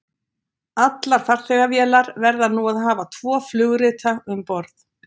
Allar farþegavélar verða nú að hafa tvo flugrita um borð.